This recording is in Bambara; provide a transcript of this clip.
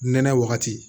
Nɛnɛ wagati